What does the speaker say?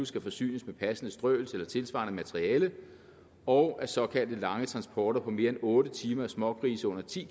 skal forsynes med passende strøelse eller tilsvarende materiale og at såkaldte lange transporter på mere end otte timer af smågrise under ti